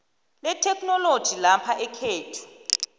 letheknoloji lapha ekhethu